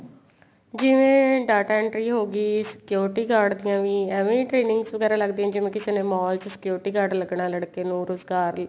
ਜਿਵੇਂ data entry ਹੋਗੀ security guard ਦੀਆਂ ਵੀ ਐਵੇ trainings ਵਗੈਰਾ ਲੱਗਦੀਆਂ ਜਿਵੇਂ ਕਿਸੇ ਨੇ mall ਚ security guard ਲਗਣਾ ਲੜਕੇ ਨੂੰ ਰੁਜਗਾਰ